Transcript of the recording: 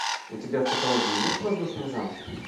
у тебя в каталоге есть воздушные замки